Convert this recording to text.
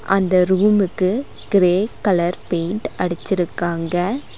அந்த ரூமுக்கு grey colour paint அடிச்சிருக்காங்க.